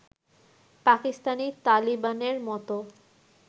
পাকিস্তানী তালিবানের মত